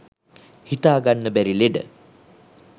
හිතාගන්න බැරි ලෙඩ